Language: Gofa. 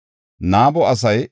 Karima yaray 1,017.